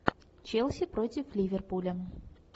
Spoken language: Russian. челси против ливерпуля